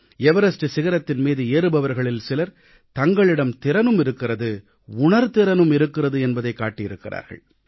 Everest சிகரத்தின் மீது ஏறுபவர்களில் சிலர் தங்களிடம் திறனும் இருக்கிறது உணர்திறனும் இருக்கிறது என்பதைக் காட்டியிருக்கிறார்கள்